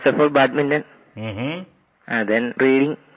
badminton and then rowing